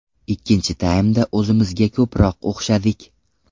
Ikkinchi taymda o‘zimizga ko‘proq o‘xshadik.